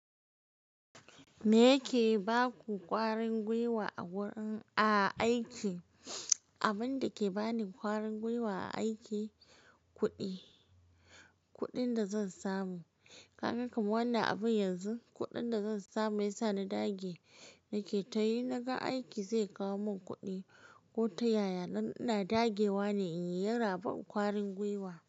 Me yake ba ku ƙwarin gwiwa a wurin a aiki? Abinda ke bani ƙwarin gwiwa a aiki, kuɗi. Kuɗin da zan samu. Ka ga kaman wannan abun yanzu, kuɗin da zan samu ya sa na dage. Nake tayi in naga aiki zai kawo mun kuɗi ko ta yaya. Dan ina dagewa ne in yi yana ban ƙwarin gwiwa.